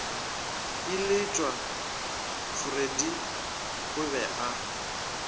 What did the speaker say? iletšwa freddie o be a